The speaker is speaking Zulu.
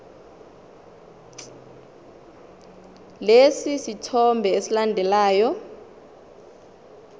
lesi sithombe esilandelayo